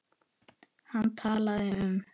Hann talaði um